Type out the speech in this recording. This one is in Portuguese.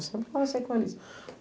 Eu sempre conversei com ele.